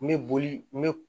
N bɛ boli me